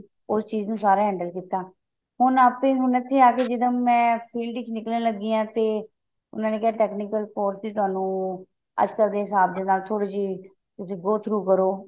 ਉਹ ਚੀਜ਼ ਨੂੰ ਸਾਰਾ handle ਕੀਤਾ ਹੁਣ ਏਪੀ ਹੁਣ ਇੱਥੇ ਆ ਕੇ ਜਿਦਾਂ ਮੈਂ field ਚ ਨਿਕਲਣ ਲੱਗੀ ਜਾਂ ਤੇ ਉਹਨਾ ਨੇ ਕਿਹਾ technical course ਵਿੱਚ ਤੁਹਾਨੂੰ ਅੱਜਕਲ ਦੇ ਹਿਸਾਬ ਨਾਲ ਥੋੜੀ ਜੀ ਗੋ through ਕਰੋ